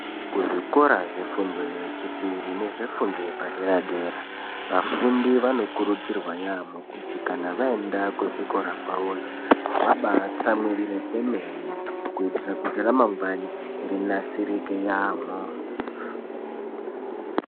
Kuzvikora zvefundo yechipiri nefundo yepadera dera vafundi vanokurudzvirwa yaamho kuti kana vaenda kuzvikora kwavoyo vabaatsamwirire kwemene kuitira kuti ramangwani rinasirike yaamho.